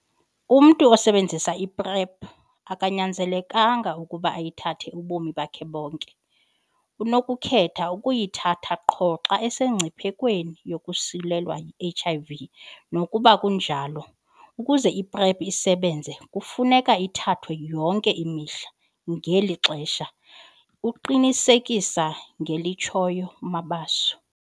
"Umntu osebenzisa i-PrEP akanyanzelekanga ukuba ayithathe ubomi bakhe bonke, unokukhetha ukuyithatha qho xa esemngciphekweni wokosulelwa yi-HIV. Nakuba kunjalo, ukuze i-PrEP isebenze, kufuneka ithathwe yonke imihla [ngeli xesha]," uqinisekisa ngelitshoyo uMabaso.